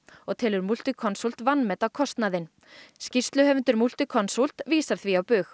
og telur Multiconsult vanmeta kostnaðinn skýrsluhöfundur Multiconsult vísar því á bug